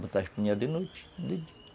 botar o espinhel de noite